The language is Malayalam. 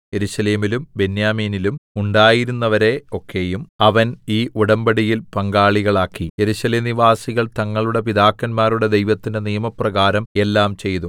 യെരൂശലേമിലും ബെന്യാമീനിലും ഉണ്ടായിരുന്നവരെ ഒക്കെയും അവൻ ഈ ഉടമ്പടിയിൽ പങ്കാളികളാക്കി യെരൂശലേം നിവാസികൾ തങ്ങളുടെ പിതാക്കന്മാരുടെ ദൈവത്തിന്റെ നിയമപ്രകാരം എല്ലാം ചെയ്തു